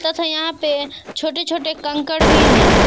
तथा यहां पे छोटे छोटे कंकड भी हैं।